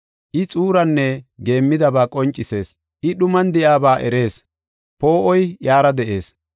I xuuraanne geemmidaba qoncisees; I dhuman de7iyaba erees; poo7oy iyara de7ees.